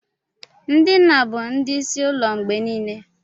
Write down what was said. Ndị nna bụ ndị isi ụlọ mgbe niile.